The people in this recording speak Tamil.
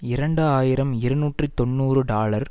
இரண்டு ஆயிரம் இருநூற்றி தொன்னூறு டாலர்